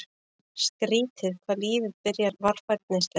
Skrýtið hvað lífið byrjar varfærnislega.